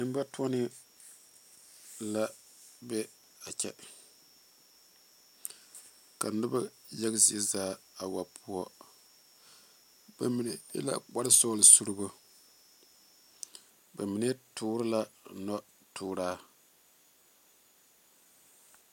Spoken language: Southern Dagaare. Nenbatoɔnee la be a kyɛ ka noba yaga zie zaa a wa poɔ bamine e la kpare sɔglɔ suurebo ba mine tuure la noɔ tuura.